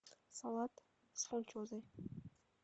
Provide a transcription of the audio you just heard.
салат с фунчозой